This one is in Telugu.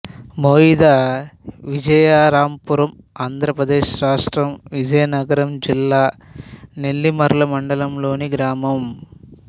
మొయిద విజయరాంపురం ఆంధ్ర ప్రదేశ్ రాష్ట్రం విజయనగరం జిల్లా నెల్లిమర్ల మండలంలోని గ్రామం